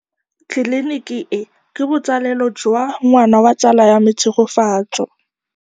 Tleliniki e, ke botsalêlô jwa ngwana wa tsala ya me Tshegofatso.